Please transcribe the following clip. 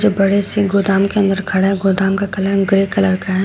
बड़े से गोदाम के अंदर खड़ा गोदाम का कलर ग्रे कलर का है।